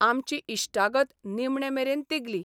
आमची इश्टागत निमणे मेरेन तिगली.